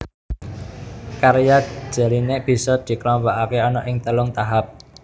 Karya Jelinek bisa dikelompokake ana ing telung tahap